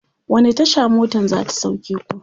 wani Tasha motan zata sauke ku?